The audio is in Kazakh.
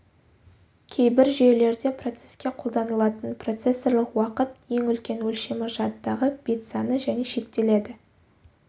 кейбір жүйелерде процеске қолданылатын процессорлық уақыт ең үлкен өлшемі жадыдағы бет саны және шектеледі